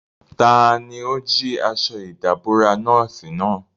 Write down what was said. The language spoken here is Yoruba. Tani ó jí aṣọ ìdàbora nọ́ọ̀sì náà?